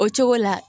O cogo la